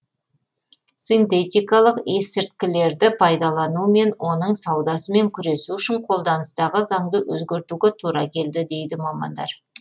синтетикалық есірткілерді пайдалану мен оның саудасымен күресу үшін қолданыстағы заңды өзгертуге тура келді дейді мамандар